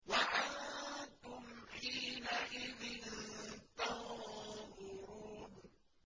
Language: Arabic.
وَأَنتُمْ حِينَئِذٍ تَنظُرُونَ